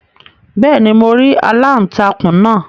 beeni, mo ri aláùntakun naa